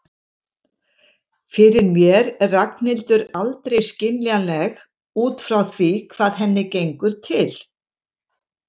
Fyrir mér er Ragnhildur aldrei skiljanleg út frá því hvað henni gengur til.